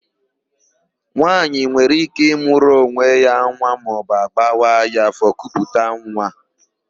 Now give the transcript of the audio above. Nwaanyị nwere íké ịmụrụ onwe ya nwa maọbụ agbawa ya áfọ̀ kuputa nwa.